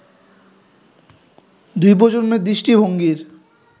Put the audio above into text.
দুই প্রজন্মের দৃষ্টিভঙ্গির